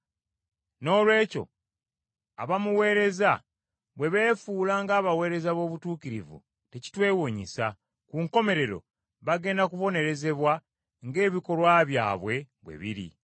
Noolwekyo abamuweereza bwe beefuula ng’abaweereza b’obutuukirivu tekitwewuunyisa. Ku nkomerero bagenda kubonerezebwa ng’ebikolwa byabwe biri.